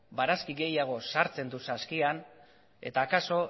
barazki gehiago sartzen du saskian eta akaso